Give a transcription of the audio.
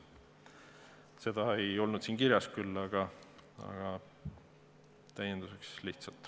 Seda ei olnud siin küll kirjas, see oli lihtsalt täienduseks.